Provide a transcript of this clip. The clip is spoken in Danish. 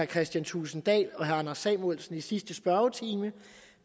kristian thulesen dahl og herre anders samuelsen i sidste spørgetime